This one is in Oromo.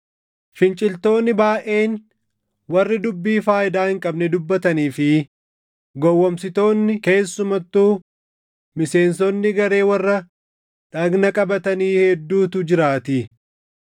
Finciltoonni baayʼeen, warri dubbii faayidaa hin qabne dubbatanii fi gowwoomsitoonni keessumattuu miseensonni garee warra dhagna qabatanii hedduutu jiraatii.